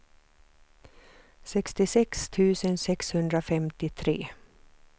sextiosex tusen sexhundrafemtiotre